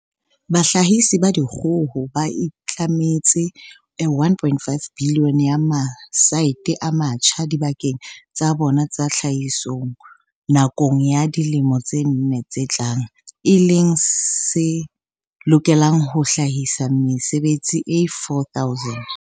Bahlahisi ba dikgoho ba itlametse R1.5 bilione ya matsete a matjha dibakeng tsa bona tsa tlhahiso nakong ya dilemo tse nne tse tlang, e leng se lokelang ho hlahisa mesebetsi e 4 000.